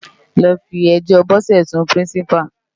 Lò fi èjò Bose sún Pirinsipá